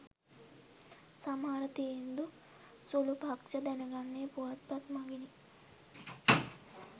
සමහර තීන්දු සුළු පක්‍ෂ දැනගන්නේ පුවත්පත් මගිනි